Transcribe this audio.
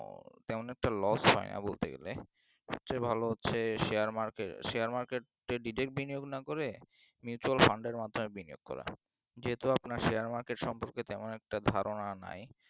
তেমন একটা loss হয় না বলতে গেলে সবচেয়ে ভালো হচ্ছে share marketshare market এ direct বিনিয়োগ না করে mutual fund এর মাধ্যমে বিনিয়োগ করো যেহেতু আপনার share market সম্বন্ধে তেমন একটা ধারণা নাই